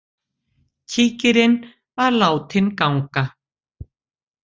Kíkirinn var látinn ganga.